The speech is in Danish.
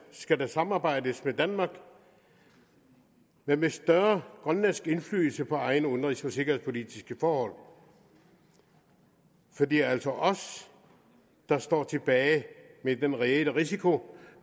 skal der samarbejdes med danmark men med større grønlandsk indflydelse på egne udenrigs og sikkerhedspolitiske forhold for det er altså os der står tilbage med den reelle risiko